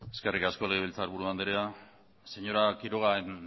eskerrik asko legebiltzarburu andrea señora quiroga en